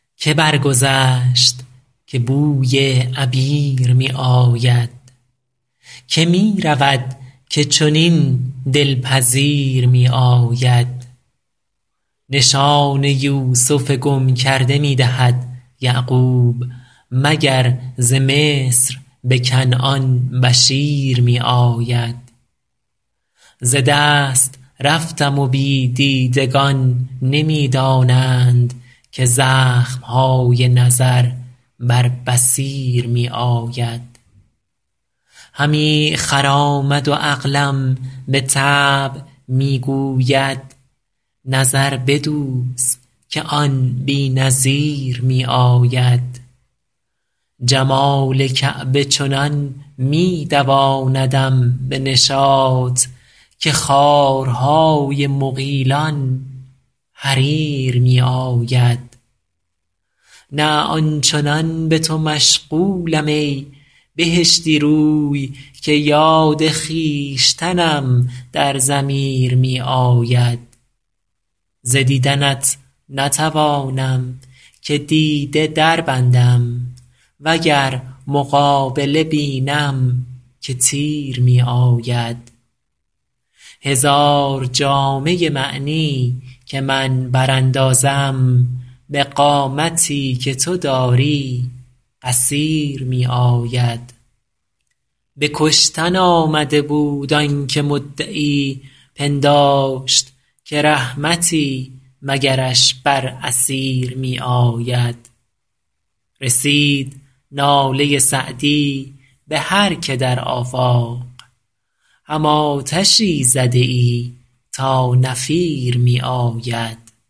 که برگذشت که بوی عبیر می آید که می رود که چنین دل پذیر می آید نشان یوسف گم کرده می دهد یعقوب مگر ز مصر به کنعان بشیر می آید ز دست رفتم و بی دیدگان نمی دانند که زخم های نظر بر بصیر می آید همی خرامد و عقلم به طبع می گوید نظر بدوز که آن بی نظیر می آید جمال کعبه چنان می دواندم به نشاط که خارهای مغیلان حریر می آید نه آن چنان به تو مشغولم ای بهشتی رو که یاد خویشتنم در ضمیر می آید ز دیدنت نتوانم که دیده دربندم و گر مقابله بینم که تیر می آید هزار جامه معنی که من براندازم به قامتی که تو داری قصیر می آید به کشتن آمده بود آن که مدعی پنداشت که رحمتی مگرش بر اسیر می آید رسید ناله سعدی به هر که در آفاق هم آتشی زده ای تا نفیر می آید